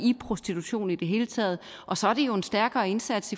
i prostitution i det hele taget og så er det jo en stærkere indsats